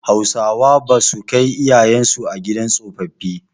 Hausawa basu kai iyayen su a gidan tsofaffi.